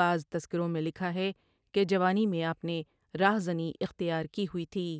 بعض تذکروں میں لکھا ہے کہ جوانی میں آپ نے راہ زنی اختیار کی ہوئی تھی ۔